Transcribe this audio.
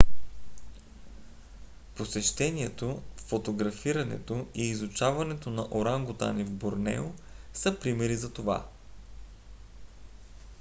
посещението фотографирането и изучаването на орангутани в борнео са примери за това